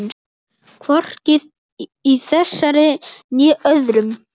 Hvorki í þessari né öðrum.